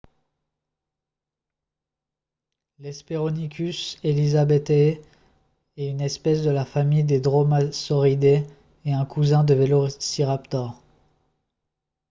l'hesperonychus elizabethae est une espèce de la famille des dromaeosauridae et un cousin du velociraptor